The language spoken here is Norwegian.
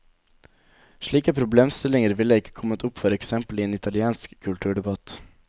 Slike problemstillinger ville ikke kommet opp for eksempel i en italiensk kulturdebatt.